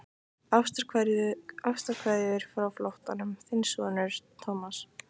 Ástarkveðjur frá flóttanum, þinn sonur Thomas.